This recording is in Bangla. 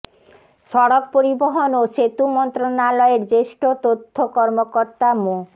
সড়ক পরিবহন ও সেতু মন্ত্রণালয়ের জ্যেষ্ঠ তথ্য কর্মকর্তা মো